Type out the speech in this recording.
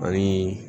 Ani